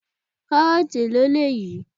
Karoti èlò eléyìí?